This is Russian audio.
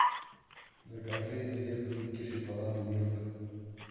закажи две плитки шоколада милка